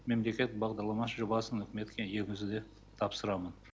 мемлекет бағдарлама жобасын үкіметке енгізуді тапсырамын